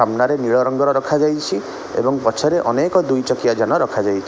ସାମ୍ନାରେ ନୀଳରଙ୍ଗର ରଖାଯାଇଛି ଏବଂ ପଛରେ ଅନେକ ଦୁଇ ଚକିଆ ଯାନ ରଖାଯାଇଛି।